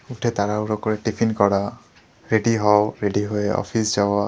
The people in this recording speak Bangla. উঠে তাড়াহুড়া করে টিফিন করা রেডি হও রেডি হয়ে অফিস যাওয়া।